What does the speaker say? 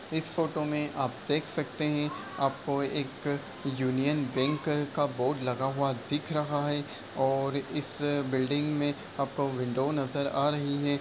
इस फोटो में आप देख सकते हैं आपको एक यूनियन बैंक का बोर्ड लगा हुआ दिख रहा है और इस बिल्डिंग में आपको विंडो नजर आ रही है।